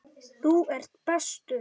Þú ert bestur.